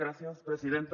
gràcies presidenta